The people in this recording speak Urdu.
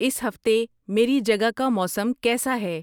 اس ہفتے میری جگہ کا موسم کیسا ہے